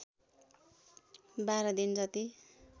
१२ दिन जति